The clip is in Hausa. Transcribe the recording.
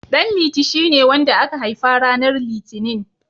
Ɗanliti shine wanda aka haifa ranar Litinin.